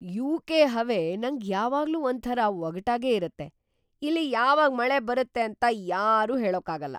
UK. ಹವೆ ನಂಗ್ ಯಾವಾಗ್ಲೂ ಒಂಥರ ಒಗಟಾಗೇ ಇರತ್ತೆ. ಇಲ್ಲಿ ಯಾವಾಗ್ ಮಳೆ ಬರುತ್ತೆ ಅಂತ ಯಾರೂ ಹೇಳೋಕಾಗಲ್ಲ.